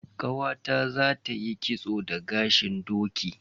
Ƙawata zata yi kitso da gashin doki.